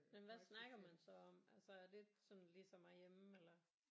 Men hvad snakker man så om altså er det sådan ligesom herhjemme eller